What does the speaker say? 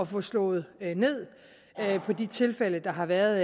få slået ned på de tilfælde der har været